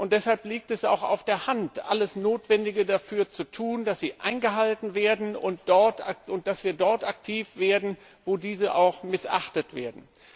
Deshalb liegt es auch auf der Hand, alles Notwendige dafür zu tun, dass sie eingehalten werden, und dass wir dort aktiv werden, wo diese missachtet werden.